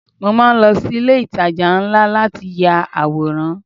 Mo máa ń lọ sí ilé ìtajà ńlá láti ya àwòrán.